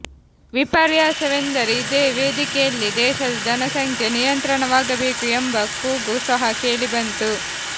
ವಿಪರ್ಯಾಸವೆಂದರೆ ಇದೇ ವೇದಿಕೆಯಲ್ಲಿ ದೇಶದ ಜನಸಂಖ್ಯೆ ನಿಯಂತ್ರಣವಾಗಬೇಕು ಎಂಬ ಕೂಗು ಸಹ ಕೇಳಿ ಬಂತು